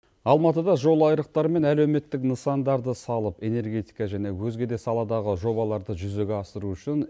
алматыда жол айрықтары мен әлеуметтік нысандарды салып энергетика және өзге де саладағы жобаларды жүзеге асыру үшін